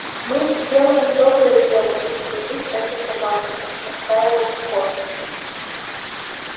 мы сделаем доброе дело застрелив эту собаку настаивал скотт